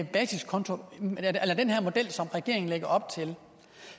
basiskonto eller den her model som regeringen lægger op til